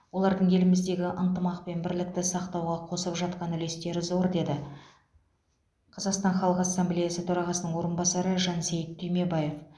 олардың еліміздегі ынтымақ пен бірлікті сақтауға қосып жатқан үлестері зор деді қазақстан халық ассамблеясы төрағасының орынбасары жансейіт түймебаев